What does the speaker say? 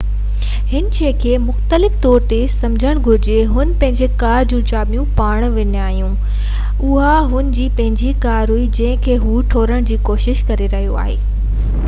ھن شئي کي مختلف طور تي سمجهڻ گهرجي جيڪڏهن هن پنهنجي ڪار جون چاٻيون وڃائي ڇڏيون هجن ۽ اها هن جي پنهنجي ڪار هئي جنهن کي هو ٽوڙڻ جي ڪوشش ڪري رهيو هو